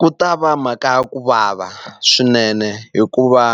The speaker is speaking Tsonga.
Ku ta va mhaka ya ku vava swinene hikuva